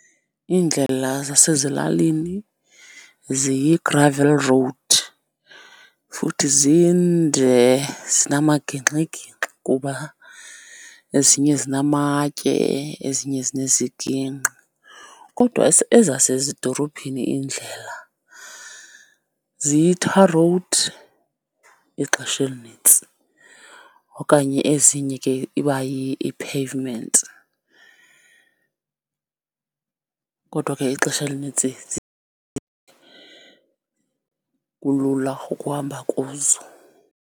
Iindlela zasezilalini ziyi-gravel road, futhi zinde zinamagingxigingxi kuba ezinye zinamatye ezinye zinezigingqi. Kodwa ezasezidorophini indlela ziyi-tar road ixesha elinintsi, okanye ezinye ke ibayi-pavement, kodwa ke ixesha elinintsi kulula ukuhamba kuzo.